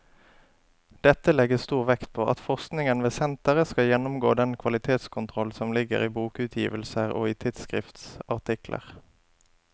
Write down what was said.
Dette legges stor vekt på at forskningen ved senteret skal gjennomgå den kvalitetskontroll som ligger i bokutgivelser og i tidsskriftsartikler.